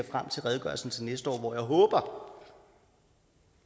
redegørelsen til næste år hvor jeg håber